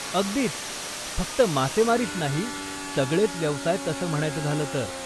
अगदीच! फक्त मासेमारीच नाही, सगळेच व्यवसाय तसं म्हणायचं झालं तर.